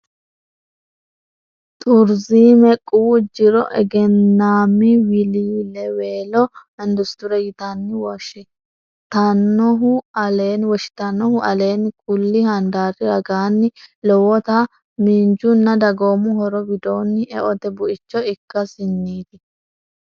Turizime quwu jiro egennaammi wiliiliweelo industire yitanni woshshi- tannohu aleenni kulli handaari ragaanni lowota miinjunna dagoomu horo widoonni eote buicho ikkasinniiti.